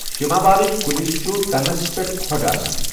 شِما والِچی کُلس چھٗ تنس پیٹھ كھو٘ڈ آسان ۔